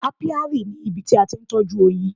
Apiary ni ibi tí a ti ń tọ́jú oyin.